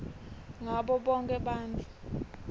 ngabo bonkhe bantfu